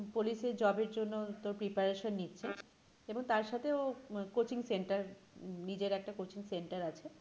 পুলিশের job এর জন্য তোর preparation নিচ্ছে এবং তারসাথে ও আহ coaching centre নিজের একটা coaching centre আছে।